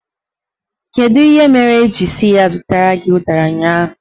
Kedu ihe mere ị jiri sị ya zụtara gị ụdara ụnyaahụ?